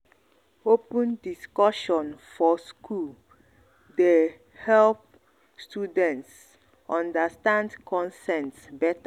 open discussion for school dey um help students um understand consent better.